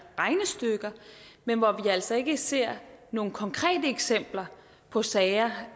regnestykker men hvor vi altså ikke ser nogen konkrete eksempler på sager